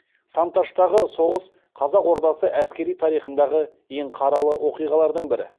сан таштағы соғыс қазақ ордасы әскери тарихындағы ең қаралы оқиғалардың бірі